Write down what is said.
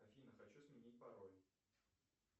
афина хочу сменить пароль